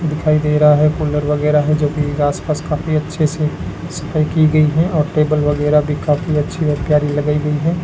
दिखाई दे रहा है कूलर वगैरा है जो कि आसपास काफी अच्छे से सफाई की गई है और टेबल वगैरा भी काफी अच्छी और प्यारी लगाई गई है।